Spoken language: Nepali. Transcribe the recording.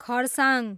खरसाङ